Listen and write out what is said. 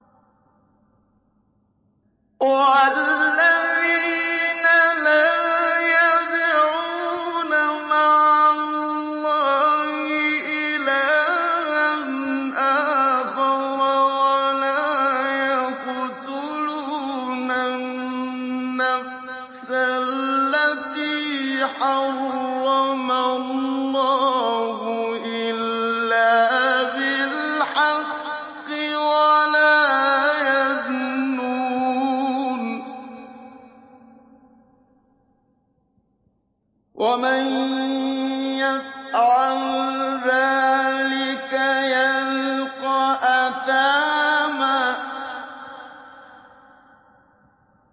وَالَّذِينَ لَا يَدْعُونَ مَعَ اللَّهِ إِلَٰهًا آخَرَ وَلَا يَقْتُلُونَ النَّفْسَ الَّتِي حَرَّمَ اللَّهُ إِلَّا بِالْحَقِّ وَلَا يَزْنُونَ ۚ وَمَن يَفْعَلْ ذَٰلِكَ يَلْقَ أَثَامًا